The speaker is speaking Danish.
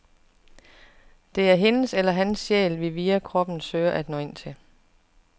Det er hendes eller hans sjæl, vi via kroppen søger at nå ind til.